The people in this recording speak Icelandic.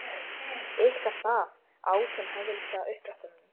Ykkar stað, át hinn hæðnislega upp eftir honum.